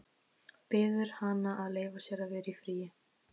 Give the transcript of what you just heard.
Biður hana að leyfa sér að vera í friði.